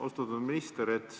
Austatud minister!